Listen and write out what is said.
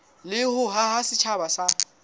le ho haha setjhaba sa